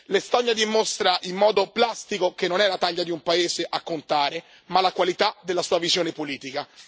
L'Estonia dimostra in modo plastico che non è la taglia di un paese a contare ma la qualità della sua visione politica.